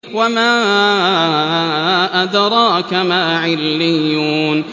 وَمَا أَدْرَاكَ مَا عِلِّيُّونَ